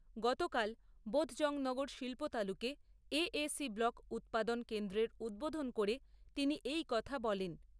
গতকাল বোধজংনগর শিল্পতালুকে AAC block উৎপাদন কেন্দ্রের উদ্বোধন করে তিনি এই কথা বলেন।